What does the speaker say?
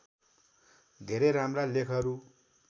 धेरै राम्रा लेखहरू